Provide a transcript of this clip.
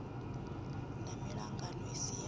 na miṱangano i si ya